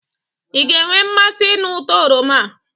ị ga-enwe mmasi ịnụ uto oroma a?